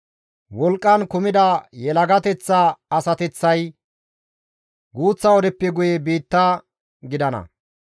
Wolqqan kumida yelagateththa asateththay guuththa wodeppe guye biitta gidana.